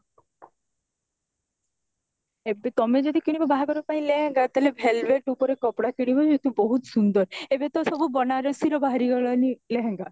ଏବେ ତମେ ଯଦି କିଣିବ ବାହାଘର ପାଇଁ କିଣିବ ଲେହେଙ୍ଗା ତାହାଲେ velvet ଉପରେ କିଣିବ ଯେମିତି ବହୁତ ସୁନ୍ଦର ଏବେ ତ ସବୁ ବନାରସୀ ର ବାହାରି ଗଲାଣି ଲେହେଙ୍ଗା